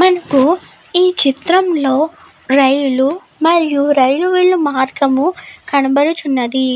మనకు ఈ చిత్రం లో రైలు మరియు రైలు వెళ్ళు మార్గము కనబడుచున్నది